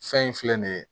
Fɛn in filɛ nin ye